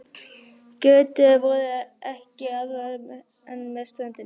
Götur voru ekki aðrar en með ströndinni.